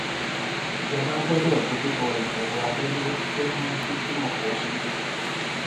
ìjọba gbọdọ dojúkọ ìṣòro abẹlẹ tó ń mú kíkúrò pọ sí i